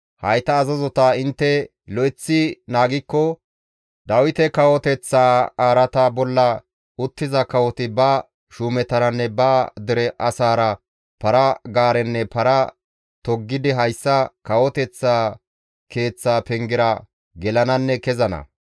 Hayta azazota intte lo7eththi naagikko Dawite kawoteththa araata bolla uttiza kawoti ba shuumetaranne ba dere asaara para-gaarenne para toggidi hayssa kawoteththa keeththa pengera gelananne kezana.